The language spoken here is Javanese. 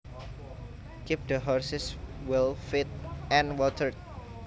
Keep the horses well fed and watered